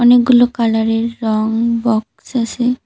অনেকগুলো কালারের রঙ বক্স আছে।